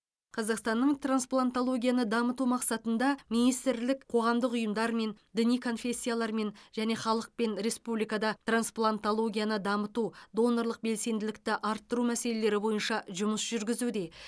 қазақстанның трансплантологияны дамыту мақсатында министрлік қоғамдық ұйымдармен діни конфессиялармен және халықпен республикада трансплантологияны дамыту донорлық белсенділікті арттыру мәселелері бойынша жұмыс жүргізуде